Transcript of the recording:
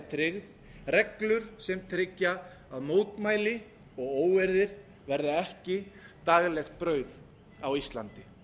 tryggð reglur sem tryggja að mótmæli og óeirðir verða ekki daglegt brauð á íslandi